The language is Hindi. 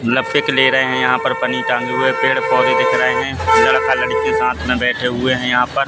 लफेक ले रहें हैं यहाँ पर पनी तांदुळ हैं पेड़ पौधे दिख रहें हैं लड़का लड़की साथ में बैठे हुए हैं यहाँ पर।